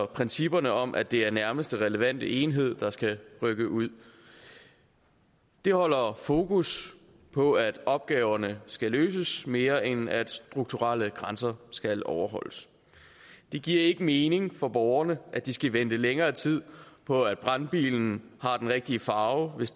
principperne om at det er nærmeste relevante enhed der skal rykke ud det holder fokus på at opgaverne skal løses mere end at strukturelle grænser skal overholdes det giver ikke mening for borgerne at de skal vente længere tid på at brandbilen har den rigtige farve hvis